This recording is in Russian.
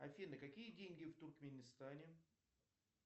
афина какие деньги в туркменистане